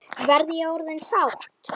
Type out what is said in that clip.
Verð ég orðin sátt?